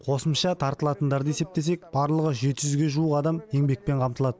қосымша тартылатындарды есептесек барлығы жеті жүзге жуық адам еңбекпен қамтылады